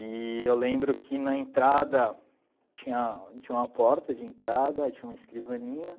E eu lembro que na entrada tinha tinha uma porta de entrada, tinha uma escrivaninha.